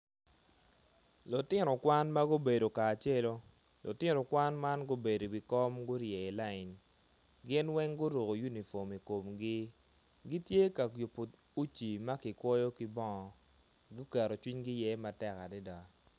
Lutino kwan ma gubedo kacelu lutino kwan ma gubedo i wikom gurye i layin gin weng guruko unifom i komgi gitye ka yubo uci ma kikwoyo ki bongo